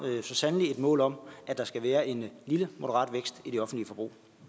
så sandelig et mål om at der skal være en lille moderat vækst i det offentlige forbrug